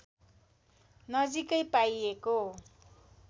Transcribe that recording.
नजिकै पाइएको